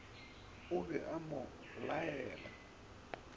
o be a mo laela